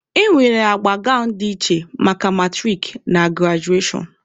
E nwere agba gawnụ dị iche maka maturik na grajuashọn.